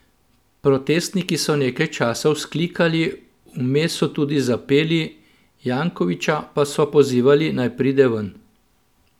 Protestniki so nekaj časa vzklikali, vmes so tudi zapeli, Jankovića pa so pozivali, naj pride ven.